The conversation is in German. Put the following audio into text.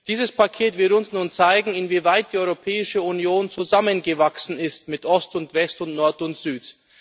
Dieses Paket wird uns nun zeigen, inwieweit die Europäische Union zusammengewachsen ist mit Ost und West und Nord und Süd.